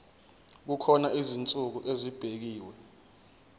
kukhona izinsuku ezibekiwe